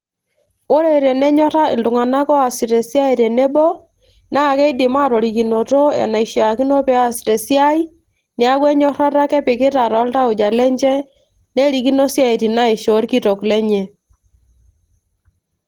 ore tenyorra iltung'anak oosita esiai tenebo naa keidim atorikinoto enaishiakino pees tesiai niaku enyorrata ake epikita toltauja lenche nerikino isiaitin naishoo orkitok lenye.